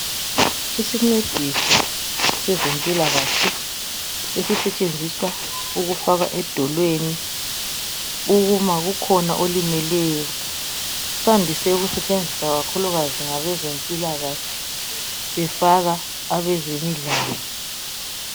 Izincediso sezempilakahle esisetshenziswa ukufaka edolweni uma kukhona olimeleyo. Sandise ukusetshenziswa ngabezempilakahle befaka abemidlalo.